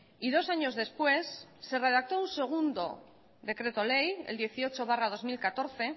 y dos años después se redactó un segundo decreto ley el dieciocho barra dos mil catorce